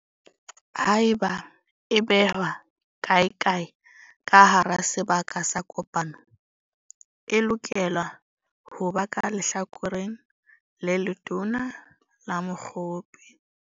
Haeba e behwa kaekae ka hara sebaka sa kopano, e lokela ho ba ka lehlakoreng le letona la mokgopi.